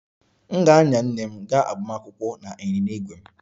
M ga-anya nne m gaa agbamakwụkwọ na ịnyịnya ígwè m